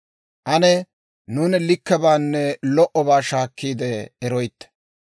Ane nuuni likkebaanne lo"obaa shaakkiide eroytte.